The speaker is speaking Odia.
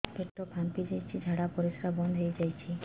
ପେଟ ଫାମ୍ପି ଯାଇଛି ଝାଡ଼ା ପରିସ୍ରା ବନ୍ଦ ହେଇଯାଇଛି